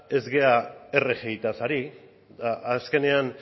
ez gera rgiaz ari eta